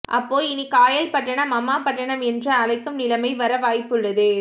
அப்போ இனி Kayalpattinam Ammapattinam என்று அழைக்கும் நிலைமை வர வாய்ப்புள்ளது